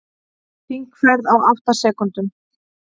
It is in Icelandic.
Hringferð á átta sekúndum